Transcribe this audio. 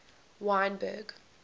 wynberg